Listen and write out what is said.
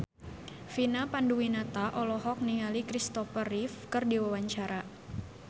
Vina Panduwinata olohok ningali Christopher Reeve keur diwawancara